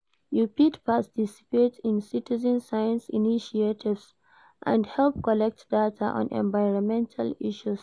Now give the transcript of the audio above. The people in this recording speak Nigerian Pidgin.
You fit participate in citezen science initiatives and help collect data on environmental issues.